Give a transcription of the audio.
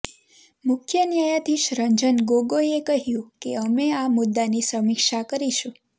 મુખ્ય ન્યાયાધીશ રંજન ગોગોઈએ કહ્યું કે અમે આ મુદ્દાની સમીક્ષા કરીશું